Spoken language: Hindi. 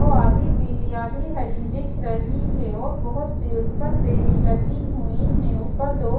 वो आधी पिली आधी हरी दिख रही है और बहोत सी उस पर बेल लगी हुई है ऊपर दो--